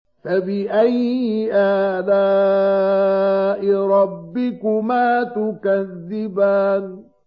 فَبِأَيِّ آلَاءِ رَبِّكُمَا تُكَذِّبَانِ